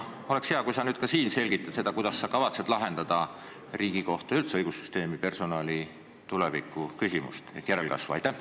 Oleks hea, kui sa nüüd siin samuti selgitad seda, kuidas sa kavatsed lahendada Riigikohtu ja üldse õigussüsteemi personali tuleviku ehk järelkasvu küsimust.